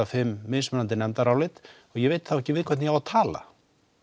fimm mismunandi nefndarálit og ég veit þá ekki við hvern ég á að tala